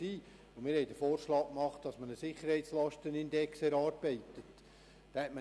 Wir machten den Vorschlag, einen Sicherheitslastenindex zu erarbeiten.